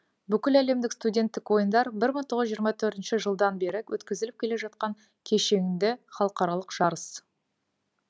бүкіләлемдік студенттік ойындар бір мың тоғыз жүз жиырма төртініші жылдан бері өткізіліп келе жаткан кешеңді халықаралық жарыс